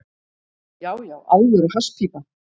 Já, já, alvöru hasspípa.